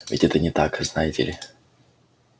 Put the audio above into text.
ведь это не так знаете ли